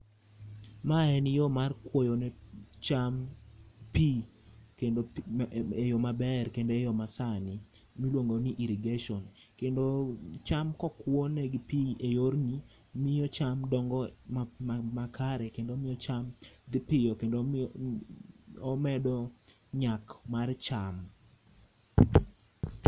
Ma en yo maber mar kwoyo ne cham pi kendo eyo maber, kendo eyo ma sani miluongo ni irrigation. Kendo cham kokwo negi pi e yorni miyo cham dongo makare kendo omiyo cham dhi piyo kendo omedo nyak mar cham.